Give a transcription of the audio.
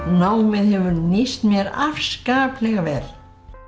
námið hefur nýst mér afskaplega vel